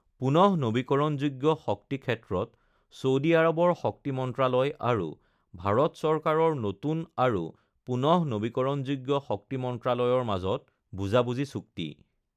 পুনঃনবীকৰণযোগ্য শক্তি ক্ষেত্ৰত ছৌদি আৰৱৰ শক্তি মন্ত্ৰালয় আৰু ভাৰত চৰকাৰৰ নতুন আৰু পুনঃনবীকৰণযোগ্য শক্তি মন্ত্ৰালয়ৰ মাজত বুজিবুজি চুক্তি